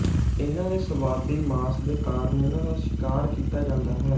ਇਨ੍ਹਾਂ ਦੇ ਸਵਾਦੀ ਮਾਸ ਦੇ ਕਾਰਨ ਇਨ੍ਹਾਂ ਦਾ ਸ਼ਿਕਾਰ ਕੀਤਾ ਜਾਂਦਾ ਹੈ